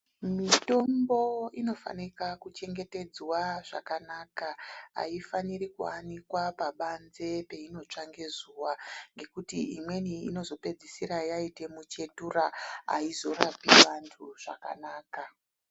Mithombo inofanika kuchengetedzwa zvakanaka, ayifaniri kuanikwa pabanze peinotsva ngezuwa ngekuti imweni inozopedzisira yaite michetura ayizorapi vanhu zvakanaka.